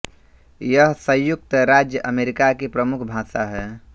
यह संयुक्त राज्य अमेरिका की प्रमुख भाषा है